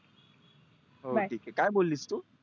हो ठि आहे काय बोललीस तु?